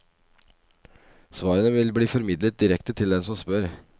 Svarene vil bli formidlet direkte til den som spør.